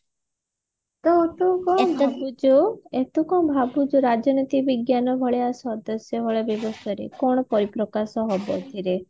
ତ ତୁ କଣ ଭାବୁଚୁ ତୁ କଣ ଭାବୁଛୁ ରାଜନୀତି ବିଜ୍ଞାନ ଭଳିଆ ସଦସ୍ୟ ଭଳିଆ କଣ ପରିପ୍ରକାଶ ହବ ଏଥିରେ